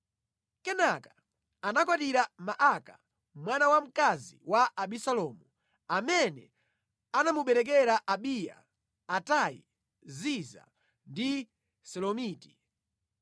Kenaka anakwatira Maaka, mwana wamkazi wa Abisalomu, amene anamubereka Abiya, Atai, Ziza ndi Selomiti.